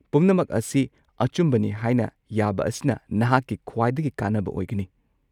ꯄꯨꯝꯅꯃꯛ ꯑꯁꯤ ꯑꯆꯨꯝꯕꯅꯤ ꯍꯥꯏꯅ ꯌꯥꯕ ꯑꯁꯤꯅ ꯅꯍꯥꯛꯀꯤ ꯈ꯭ꯋꯥꯏꯗꯒꯤ ꯀꯥꯟꯅꯕ ꯑꯣꯏꯒꯅꯤ꯫